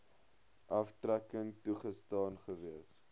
aftrekking toegestaan gewees